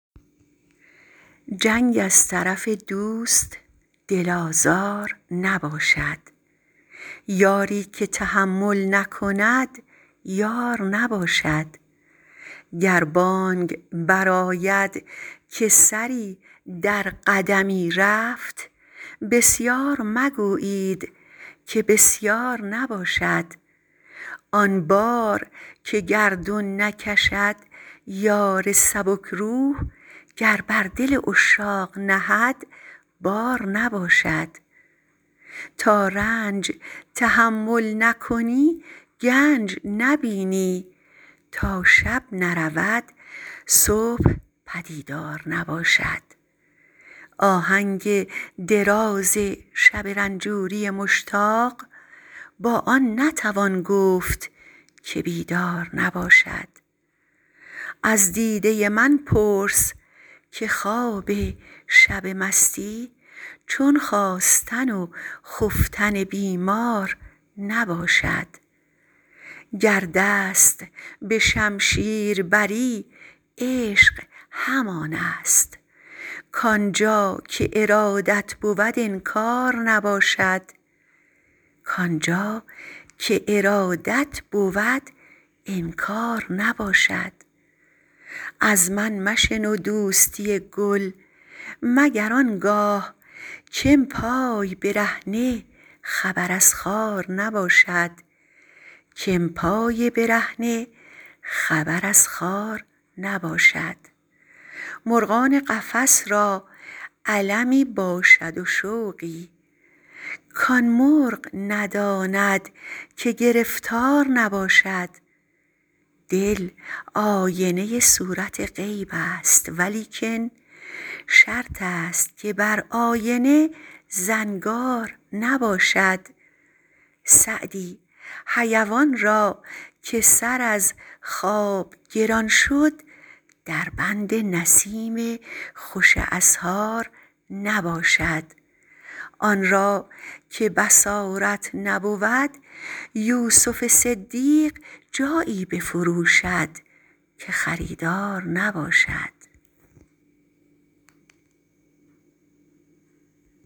جنگ از طرف دوست دل آزار نباشد یاری که تحمل نکند یار نباشد گر بانگ برآید که سری در قدمی رفت بسیار مگویید که بسیار نباشد آن بار که گردون نکشد یار سبک روح گر بر دل عشاق نهد بار نباشد تا رنج تحمل نکنی گنج نبینی تا شب نرود صبح پدیدار نباشد آهنگ دراز شب رنجوری مشتاق با آن نتوان گفت که بیدار نباشد از دیده من پرس که خواب شب مستی چون خاستن و خفتن بیمار نباشد گر دست به شمشیر بری عشق همان است کآن جا که ارادت بود انکار نباشد از من مشنو دوستی گل مگر آن گاه که ام پای برهنه خبر از خار نباشد مرغان قفس را المی باشد و شوقی کآن مرغ نداند که گرفتار نباشد دل آینه صورت غیب است ولیکن شرط است که بر آینه زنگار نباشد سعدی حیوان را که سر از خواب گران شد در بند نسیم خوش اسحار نباشد آن را که بصارت نبود یوسف صدیق جایی بفروشد که خریدار نباشد